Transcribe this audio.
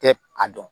Tɛ a dɔn